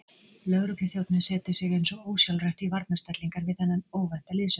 Lögregluþjónninn setur sig eins og ósjálfrátt í varnarstellingar við þennan óvænta liðsauka.